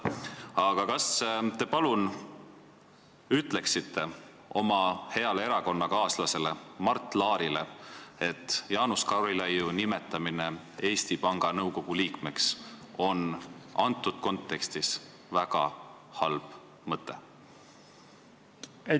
Aga kas te palun ütleksite oma heale erakonnakaaslasele Mart Laarile, et Jaanus Karilaidi nimetamine Eesti Panga nõukogu liikmeks on selles kontekstis väga halb mõte?